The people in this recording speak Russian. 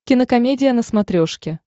кинокомедия на смотрешке